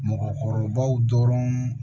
Mɔgɔkɔrɔbaw dɔrɔn